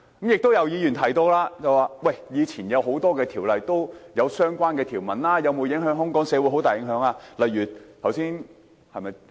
亦有議員提到，以往很多條例也有類似的條文，最終有否對香港社會造成很大影響呢？